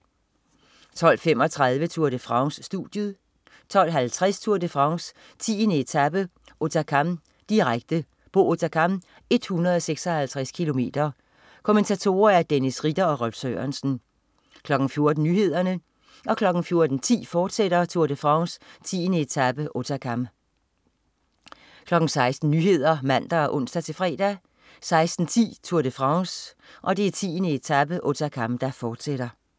12.35 Tour de France. Studiet 12.50 Tour de France: 10. etape, Hautacam. Direkte, Pau-Hautacam, 156 km. Kommentatorer: Dennis Ritter og Rolf Sørensen 14.00 Nyhederne 14.10 Tour de France: 10. etape, Hautacam, fortsat 16.00 Nyhederne (man og ons-fre) 16.10 Tour de France: 10. etape, Hautacam, fortsat